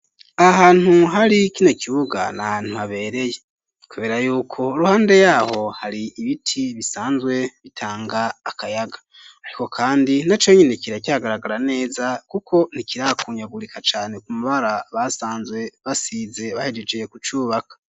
Ahantu hari kino kibuga nahantu habereye kubera yuko iruhande yaho hari ibiti bisanzwe bitanga akayaga ariko kandi na conyine kira cagaragara neza kuko ntikirakunyagurika cane ku mabara basanzwe basize bahejejeye kucubaka.